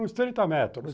Uns trinta metros.